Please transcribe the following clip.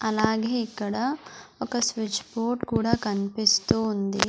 అలాగే ఇక్కడ ఒక స్విచ్ బోర్డ్ కూడా కన్పిస్తూ ఉంది.